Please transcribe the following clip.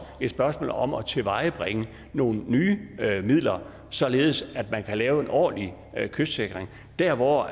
et spørgsmål om at tilvejebringe nogle nye midler således at man kan lave en ordentlig kystsikring dér hvor